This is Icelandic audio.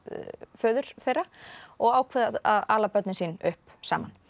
föður þeirra og ákveða að ala börnin sín upp saman